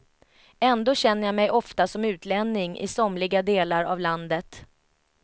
Ändå känner jag mig ofta som utlänning i somliga delar av landet.